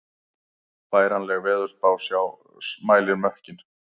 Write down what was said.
Færanleg veðursjá mælir mökkinn